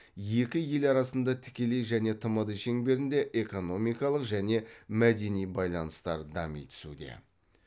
екі ел арасында тікелей және тмд шеңберінде экономикалық және мәдени байланыстар дами түсуде